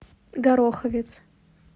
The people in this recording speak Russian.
гороховец